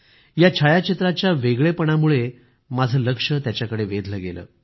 या छायाचित्राच्या वेगळेपणामुळं माझं लक्ष त्याच्याकडे वेधलं गेलं